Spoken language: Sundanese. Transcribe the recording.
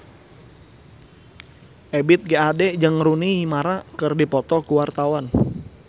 Ebith G. Ade jeung Rooney Mara keur dipoto ku wartawan